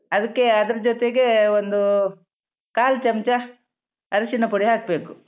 ಅದಕ್ಕೆ ಅದ್ರ ಜೊತೆಗೆ ಒಂದು ಕಾಲ್ ಚಮ್ಚ ಅರಿಶಿನ ಪುಡಿ ಹಾಕ್ಬೇಕು.